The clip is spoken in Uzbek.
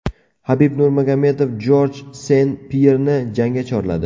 Habib Nurmagomedov Jorj Sen-Pyerni jangga chorladi.